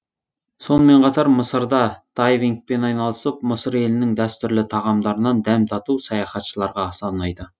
сонымен қатар мысырда дайвингпен айналысып мысыр елінің дәстүрлі тағамдарынан дәм тату саяхатшыларға аса ұнайды